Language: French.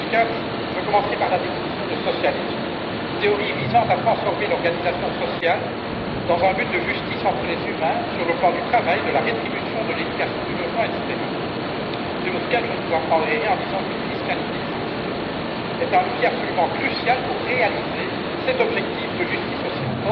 Monsieur Muscat, je commencerai par la définition du socialisme théorie visant à transformer l'organisation sociale dans un but de justice entre les humains sur le plan du travail, de la rétribution, de l'éducation, du logement, etc.. Je ne vous apprendrai rien, Monsieur Muscat, en disant qu'une fiscalité juste est un levier absolument crucial pour atteindre cet objectif de justice sociale.